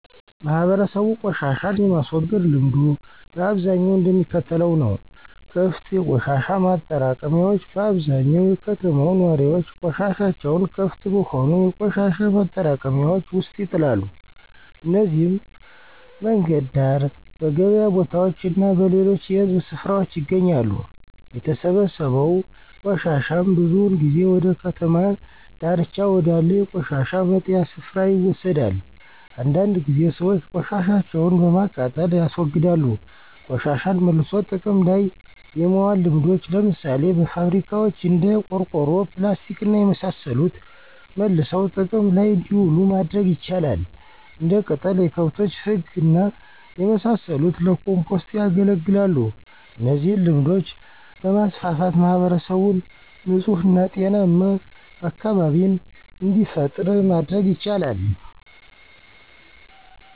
ማህበረሰቡ ቆሻሻን የማስወገድ ልምዱ በአብዛኛው እንደሚከተለው ነው -* ክፍት የቆሻሻ ማጠራቀሚያዎች በአብዛኛው የከተማው ነዋሪዎች ቆሻሻቸውን ክፍት በሆኑ የቆሻሻ ማጠራቀሚያዎች ውስጥ ይጥላሉ። እነዚህም በመንገድ ዳር፣ በገበያ ቦታዎች እና በሌሎች የህዝብ ስፍራዎች ይገኛሉ። የተሰበሰበው ቆሻሻም ብዙውን ጊዜ ወደ ከተማ ዳርቻ ወዳለ የቆሻሻ መጣያ ስፍራ ይወሰዳል። አንዳንድ ጊዜ ሰዎች ቆሻሻቸውን በማቃጠል ያስወግዳሉ *ቆሻሻን መልሶ ጥቅም ላይ የማዋል ልምዶች፦ ለምሳሌ በፋብሪካዋች እንደ ቆርቆሮ፣ ፕላስቲክና የመሳሰሉት መልሰው ጥቅም ላይ እንዲውሉ ማድረግ ይቻላል። *እንደ ቅጠል፣ የከብቶች ፍግና የመሳሰሉት ለኮምፖስት ያገለግላሉ እነዚህን ልምዶች በማስፋፋት ማህበረሰቡን ንጹህ እና ጤናማ አካቢቢን እንዲፈጥሩ ማድረግ ይቻላል።